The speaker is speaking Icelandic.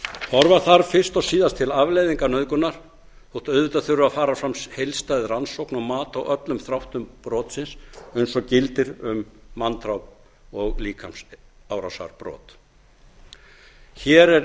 horfa þarf fyrst og síðast til afleiðinga nauðgunar þótt auðvitað þurfi að fara fram heildstæð rannsókn og mat á öllum þáttum brotsins eins og gildir um manndráp og líkamsárásarbrot hér